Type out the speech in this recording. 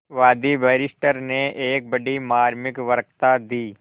वादी बैरिस्टर ने एक बड़ी मार्मिक वक्तृता दी